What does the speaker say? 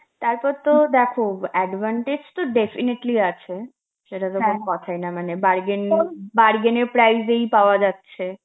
তারপর তো দেখো advantage তো definitely আছে, সেটা তো কোন কথাই না মানে bargain~ bargain এর price এই পাওয়া যাচ্ছে,